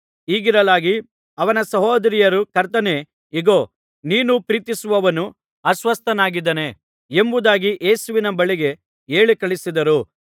ಹೀಗಿರಲಾಗಿ ಅವನ ಸಹೋದರಿಯರು ಕರ್ತನೇ ಇಗೋ ನೀನು ಪ್ರೀತಿಸುವವನು ಅಸ್ವಸ್ಥನಾಗಿದ್ದಾನೆ ಎಂಬುದಾಗಿ ಯೇಸುವಿನ ಬಳಿಗೆ ಹೇಳಿ ಕಳುಹಿಸಿದರು